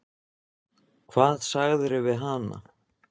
Hvað sagðirðu við hana?